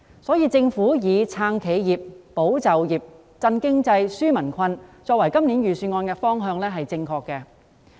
因此，政府以"撐企業、保就業、振經濟、紓民困"作為今年預算案的方向是正確的。